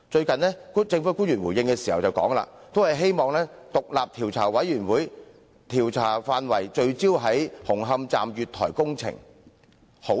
近日，政府官員作出回應時，均表示希望將調查委員會的調查範圍聚焦在紅磡站月台工程。